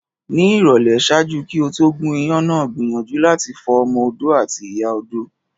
Ni ìrọ̀lẹ́, ṣaaju ki o to gún iyán náà gbiyanju lati fo ọmọ-odó ati ìyá odó